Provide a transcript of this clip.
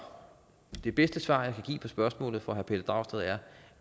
det bedste svar jeg kan give på spørgsmålet fra herre pelle dragsted er